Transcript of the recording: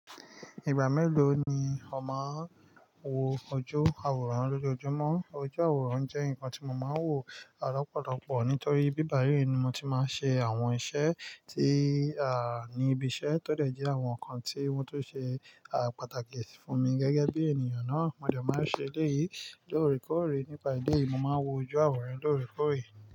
Ìgbà mélòó ni ọ máa ń wo ojú àwòrán lójoojúmọ́? Ojú àwòrán jẹ́ nǹkan tí mo máa ń wò lọ́pọ̀lọpọ̀ nítorí ibí bàyíí ni mo ti máa ń ṣe àwọn iṣẹ́ a ní ibi iṣẹ́, tọ́ dẹ̀ jẹ́ àwọn nǹkan tí wọ́n tó ṣe àpàtàkì fún mi gẹ́gẹ́ bí ènìyàn náà. Mo dẹ̀ máa ń ṣe èléyìí lóòrèkóòrè nípa idí yìí, mo máa ń wo ojú àwòrán lóòrèkóòrè.